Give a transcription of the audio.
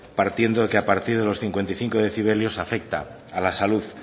partiendo que a partir de los cincuenta y cinco decibelios afecta a la salud